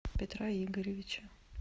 петра игоревича